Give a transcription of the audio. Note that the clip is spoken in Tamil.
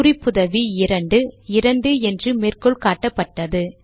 குறிப்புதவி இரண்டு 2 என்று மேற்கோள் காட்டப்பட்டது